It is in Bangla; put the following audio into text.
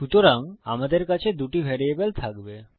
সুতরাং আমাদের কাছে দুটি ভ্যারিয়েবল থাকবে